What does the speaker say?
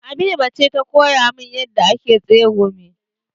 Habiba ce ta koya min yadda ake tsegumi.